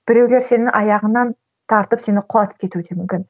біреулер сенің аяғыңнан тартып сені құлатып кетуі де мүмкін